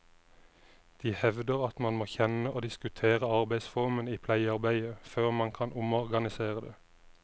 De hevder at man må kjenne og diskutere arbeidsformene i pleiearbeidet før man kan omorganisere det.